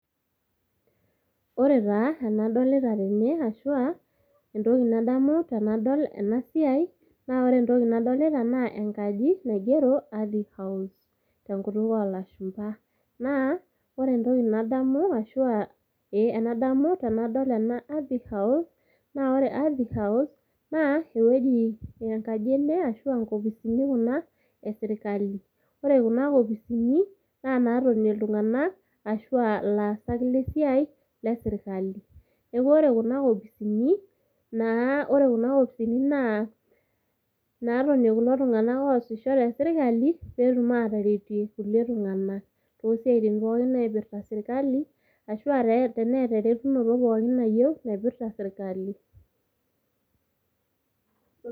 Ore taa enadolita tene ashuaa entoki nadamu tenadol siai, naa ore entoki nadolita naa enkaji naigero ardhi house tenkutuk olashumba. Naa ore entoki nadamu ashuaa ee enadamu tenadol ena ardhi house. Naa ore ardhi house naa ewueji enkaji ene ashuaa nkopisini kuna e sirkali, ore kuna kopisini , naa natonie iltunganak ashuaa ilaasak lesiai le sirkali. Niaku ore kuna kopisini, naa ore kuna kopisini naa natonie kulo tunganak oosisho te sirkali petum ataretie irkulie tunganak tosiatin pookin naipirta sirkali ashuaa teneeta eretunoto pookin nayieu naipirta sirkali.